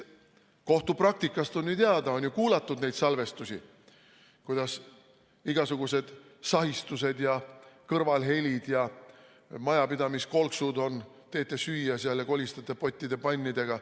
Kohtupraktikast on teada, et on kuulatud neid salvestusi, on igasugused sahistused ja kõrvalhelid ja majapidamiskolksud, teete süüa seal ja kolistate pottide-pannidega.